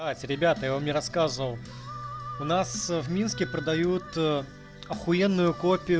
ать ребята и он мне рассказывал у нас в минске продают охуенную копию